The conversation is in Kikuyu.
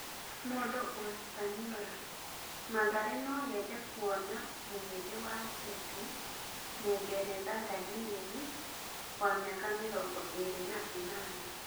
(Mundu- Ũhispaniora) Mathare noyende kuona mũhĩndi wa Cĩtĩ, Mũngeretha Danieri, wa mĩaka mĩrongo ĩrĩ na ĩnana.